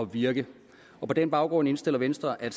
virke på på den baggrund indstiller venstre at